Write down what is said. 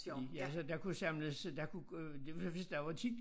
I i altså der kunne jo samles der kunne øh det var hvis der var tit